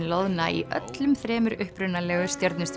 loðna í öllum þremur upprunalegu